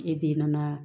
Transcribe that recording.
E be nana